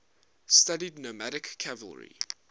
studied nomadic cavalry